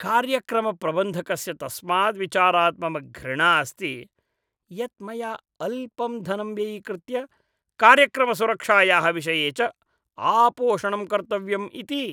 कार्यक्रमप्रबन्धकस्य तस्माद् विचारात् मम घृणा अस्ति यत् मया अल्पं धनं व्ययीकृत्य कार्यक्रमसुरक्षायाः विषये च आपोषणं कर्तव्यम् इति।